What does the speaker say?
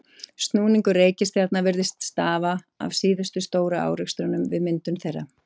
Snúningur reikistjarna virðist stafa af síðustu stóru árekstrunum við myndun þeirra.